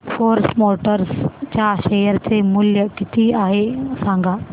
force Motors च्या share चे मूल्य किती आहे सांगा